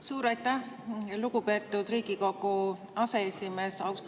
Suur aitäh, lugupeetud Riigikogu aseesimees!